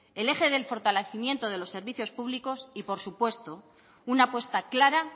el eje del fortalecimiento de los servicios públicos y por supuesto una apuesta clara